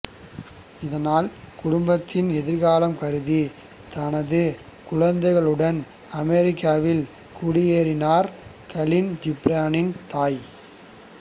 இதனால் குடும்பத்தின் எதிர்காலம் கருதி தனது குழந்தைகளுடன் அமெரிக்காவில் குடியேறினார் கலீல் ஜிப்ரானின் தாய்